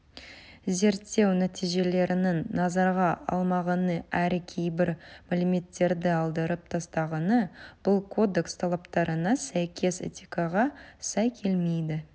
зерттеу нәтижелерін назарға алмағаны әрі кейбір мәліметтерді алдырып тастағаны бұл кодекс талаптарына сәйкес этикаға сай келмейді